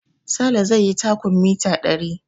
Sale zai yi takun mita ɗari